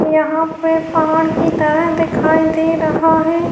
یہاں پہ پہاڑ کی طرح دکھائی دے رہا ہے-